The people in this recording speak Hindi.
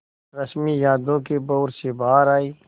रश्मि यादों के भंवर से बाहर आई